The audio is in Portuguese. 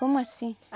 Como assim?